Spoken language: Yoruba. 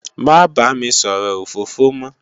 Má bá mi sòrò ófófó mò